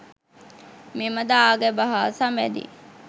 මෙම දාගැබ හා සබැඳි